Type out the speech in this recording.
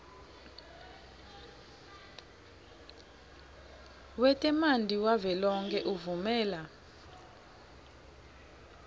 wetemanti wavelonkhe uvumela